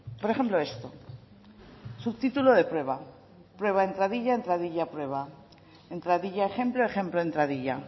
por ejemplo esto subtítulo de prueba prueba entradilla entradilla prueba entradilla ejemplo ejemplo entradilla